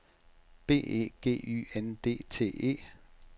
B E G Y N D T E